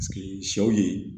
sɛw ye